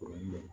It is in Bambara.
O ye